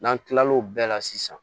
N'an tilal'o bɛɛ la sisan